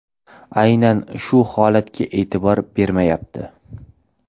Aynan shu holatlarga e’tibor bermayapti.